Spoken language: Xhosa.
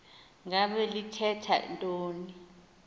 ngaba lithetha ntoni